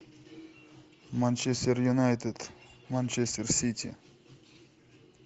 манчестер юнайтед манчестер сити